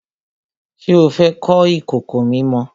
Ṣé o fẹ́ kọ́ ìkòkò mímọ?